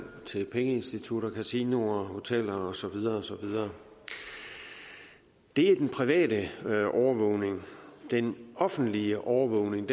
til pengeinstitutter kasinoer hoteller og så videre og så videre det er den private overvågning den offentlige overvågning